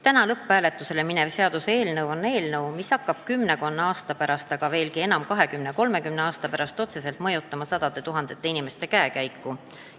Täna lõpphääletusele minev seaduseelnõu hakkab kümmekonna aasta pärast, aga veelgi enam kahekümne-kolmekümne aasta pärast otseselt mõjutama sadade tuhandete inimeste käekäiku.